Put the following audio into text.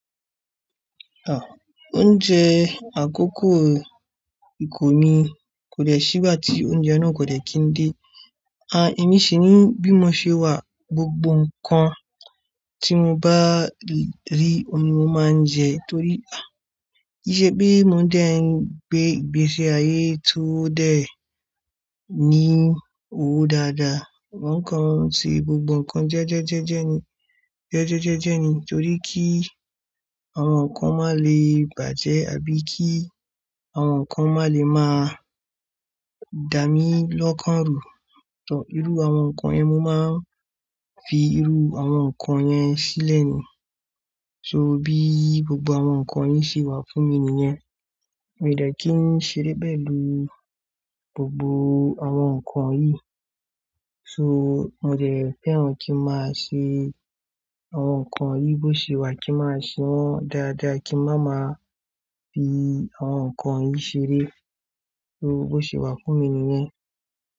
Ah! Oúnjẹ àkọ́kọ́ ìkùn mi kò dé ṣí igbá tí oúnjẹ náà kò dè kí n dé. Ah! Èmi sì ní bí mo ṣe wà gbogbo nǹkan tí mo bá rí, ọun ni mo máa ń jẹ torí ah! Kìí ṣe pé mo dẹ̀ ń gbé ìgbésí ayé tó dẹ̀ ní owó dáadáa. Mo ń ko ti gbogbo nǹkan jẹ́jẹ́jẹ́jẹ́ ni, jẹ́jẹ́jẹ́jẹ́ ni torí kí àwọn nǹkan má lè bàjẹ́ àbí kí àwọn nǹkan má lè máa dà mí lọ́kàn rù. Ọ̀ irú àwọn nǹkan yẹn mo máa ń fi irú àwọn nǹkan yẹn sílẹ̀ ni. So bí gbogbo àwọn nǹkan yìí ṣe wà fún mi nìyẹn. Mi ò dẹ́ kí ń ṣeré pẹ̀lú gbogbo àwọn nǹkan yìí. So mo dẹ̀ fẹ́ran kí máa ṣe àwọn nǹkan yìí bó ṣe wà kí máa ṣe wọ́n dáradára kí n má máa fi àwọn nǹkan yìí ṣeré. Irú bó ṣe wà fún mi nìyẹn.